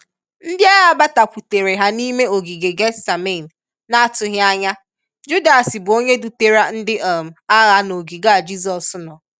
Ndi agha batakwutere ha n'ime ogige gethsemane na-atughi anya, Judas bu onye dutara ndi um agha n'ogige a Jizọs nọọ.